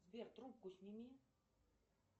сбер трубку сними